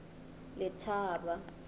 letaba